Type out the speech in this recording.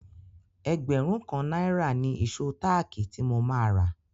Ẹgbẹ̀rún kan náírà ni ìṣó táàkì tí mo máa rà.